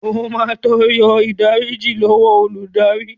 O máa tọrọ ìdáríjì lọ́wọ́ olùdarí.